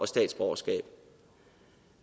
statsborgerskab